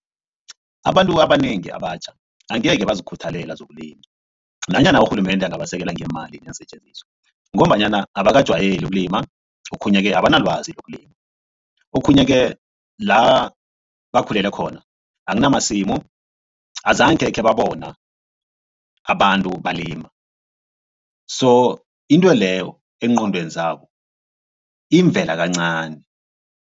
Abantu abanengi abatjha angeke bazikhuthalele zokulima nanyana urhulumende angabasekela ngeemali neensetjenziswa ngombanyana abakajwayeli ukulima. Okhunye-ke abanelwazi ngokulima okhunye-ke la bakhulele khona akunamasimu azakhe khebabona abantu balima so intweleyo eengqondweni zabo imvela kancani.